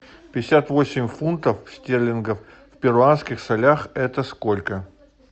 пятьдесят восемь фунтов стерлингов в перуанских солях это сколько